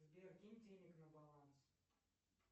сбер кинь денег на баланс